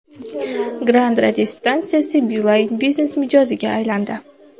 Grande radiostansiyasi Beeline Business mijoziga aylandi.